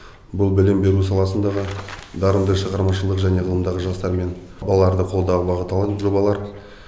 бұл білім беру саласындағы дарынды шығармашылық және ғылымдағы жастар мен балаларды қолдауға бағытталған жобалар